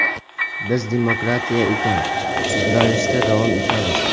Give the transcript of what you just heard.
Bizda demokratiya ekan, sudralishda davom etamiz.